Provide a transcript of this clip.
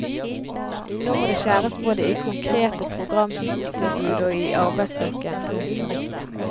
Nå må det skjæres både i konkrete programtilbud og i arbeidsstokken. punktum